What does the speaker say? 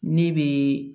Ne bɛ